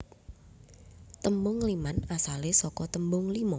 Tembung ngliman asale saka tembung lima